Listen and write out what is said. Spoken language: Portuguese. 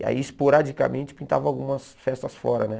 E aí, esporadicamente, pintava algumas festas fora, né?